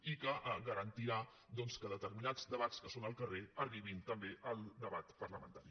i que garantirà que determinats debats que són al carrer arribin també al debat parlamentari